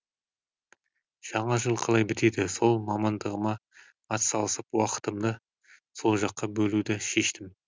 жаңа жыл қалай бітеді сол мамандығыма ат салысып уақытымды сол жаққа бөлуді шештім